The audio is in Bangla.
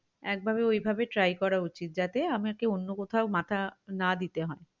একভাবে ঐভাবে try করা উচিত যাতে আমাকে অন্য কোথাও মাথা না দিতে হয়